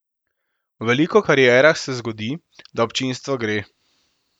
V veliko karierah se zgodi, da občinstvo gre.